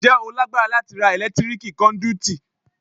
Ǹjẹ́ o lágbára láti ra ẹ̀lẹ́tíríkì kọ́ndúítí?